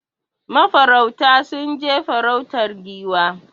Ma farauta sun je farautar Giwa